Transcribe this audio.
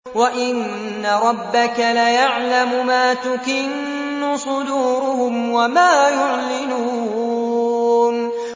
وَإِنَّ رَبَّكَ لَيَعْلَمُ مَا تُكِنُّ صُدُورُهُمْ وَمَا يُعْلِنُونَ